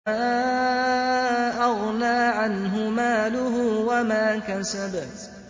مَا أَغْنَىٰ عَنْهُ مَالُهُ وَمَا كَسَبَ